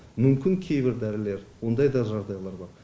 мүмкін кейбір дәрілер ондай да жағыдайлар бар